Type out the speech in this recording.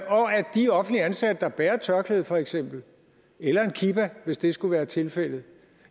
de offentligt ansatte der bærer tørklæde for eksempel eller en kipa hvis det skulle være tilfældet